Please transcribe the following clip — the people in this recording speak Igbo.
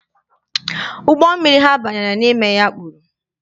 Ụgbọ mmiri ha banyere n'ime ya kpuru.